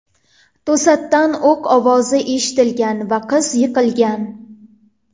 To‘satdan o‘q ovozi eshitilgan va qiz yiqilgan.